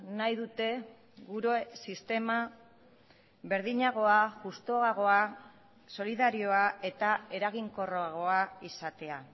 nahi dute gure sistema berdinagoa justuagoa solidarioa eta eraginkorragoa izatea